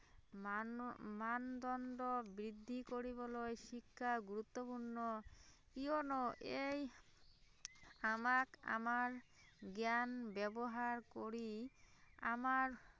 মান মানদণ্ড বৃদ্ধি কৰিবলৈ শিক্ষা গুৰুত্বপূৰ্ণ কিয়নো এই আমাক আমাৰ জ্ঞান ব্যাৱহাৰ কৰি আমাৰ